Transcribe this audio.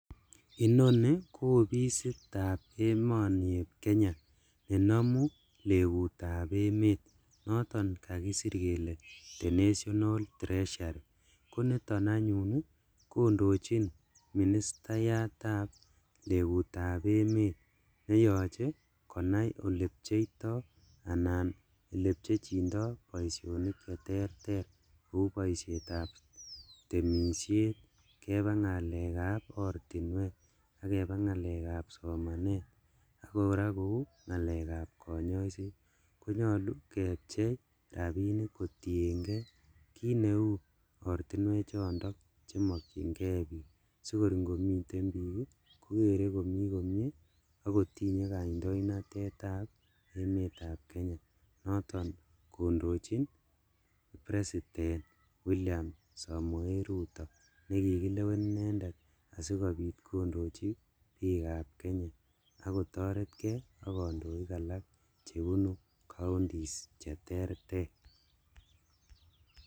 Inoni ko ofisitab emoni eb Kenya nenomu lekutab emet noton kakisir kele The National Treasury, koniton anyun kondochin ministayatab legutab emet neyoche konai olecheptoi anan elechepchindo boisinik cheterter kou ngalekab temishet, keba ngalekab ortinwek, ak keba ngalekab somanet, ak koraa kou ngalekab konyoiset konyolu kepchei rabishek kotiengee kineu ortinwechondo chemokyingee bik sikor ingomiten bik kokere komi komie akotinye kaindonatetab emetab Kenya noton kondochin president William Somoe Arap Ruto nekikilewen inendet asikobit kondochi bikab Kenya ak kotoretkee ak kondoik alak chebunu counties cheterter.